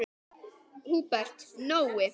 Húbert Nói.